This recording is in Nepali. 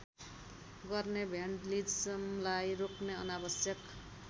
गर्ने भ्यान्डलिजमलाई रोक्ने अनावश्यक